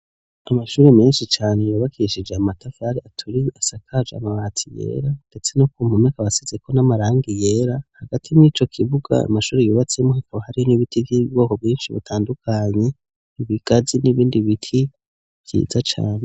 Amashure menshi cane yubakishije amatafari aturiye asakaje amabati yera, ndetse no ku mpome akaba asizeko n'amarangi yera hagati mw'ico kibuga amashure yubatsemwo hakaba hari n'ibiti vy'ubwoko bwinshi butandukanye, ibigazi n'ibindi biti vyiza cane.